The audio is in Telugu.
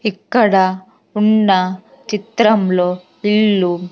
ఇక్కడ ఉన్న చిత్రంలో ఇల్లు --